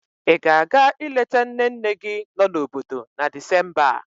Ị ga-aga ileta nne nne gị nọ n'obodo na Disemba a?